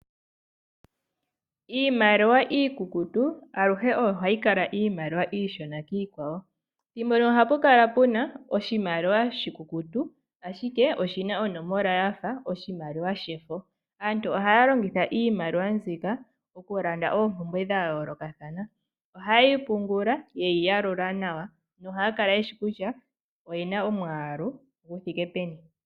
Iimaliwa iikukutu aluhe oyo hayi kala iimaliwa iishona kiikwawo, thimbo limwe ohapukala puna oshimaliwa oshikukutu ashike oshina onomola yafa oshimaliwa shefo. Aantu ohaya longitha iimaliwa mbika okulanda oompumbwe dhayoolokathana. Ohaye yi pungula ye yi yalula nawa na ohayakala yeshi kutya oyena omwaalu guthike peni.